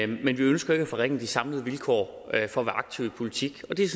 men vi ønsker ikke at forringe de samlede vilkår for at være aktiv i politik og det er